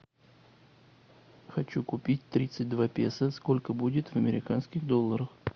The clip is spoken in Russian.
хочу купить тридцать два песо сколько будет в американских долларах